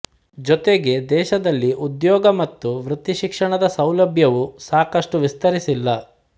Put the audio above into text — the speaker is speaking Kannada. ಜೊತೆಗೆ ದೇಶದಲ್ಲಿ ಉದ್ಯೋಗ ಮತ್ತು ವೃತ್ತಿಶಿಕ್ಷಣದ ಸೌಲಭ್ಯವೂ ಸಾಕಷ್ಟು ವಿಸ್ತರಿಸಿಲ್ಲ